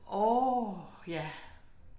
Åh ja